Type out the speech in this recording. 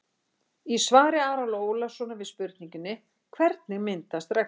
Í svari Ara Ólafssonar við spurningunni: Hvernig myndast regnboginn?